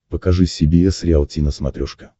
покажи си би эс риалти на смотрешке